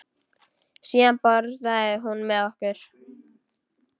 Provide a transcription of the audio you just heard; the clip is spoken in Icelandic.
Síðan borðaði hún með okkur.